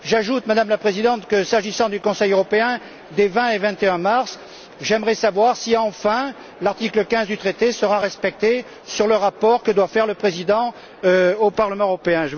J'ajoute, Madame la Présidente, que s'agissant du Conseil européen des 20 et 21mars, j'aimerais savoir si, enfin, l'article15 du traité sera respecté en ce qui concerne le rapport que doit faire le président au Parlement européen.